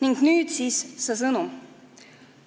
Ning nüüd siis see sõnum.